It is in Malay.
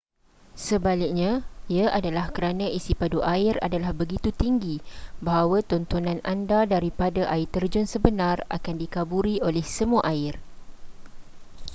sebaliknya ia adalah kerana isipadu air adalah begitu tinggi bahawa tontonan anda daripada air terjun sebenar akan dikaburi oleh semua air